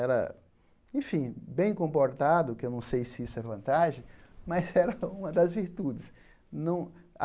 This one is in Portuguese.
Era, enfim, bem comportado, que eu não sei se isso é vantagem, mas era uma das virtudes. Não